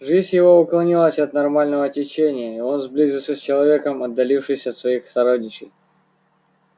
жизнь его уклонилась от нормального течения и он сблизился с человеком отдалившись от своих сородичей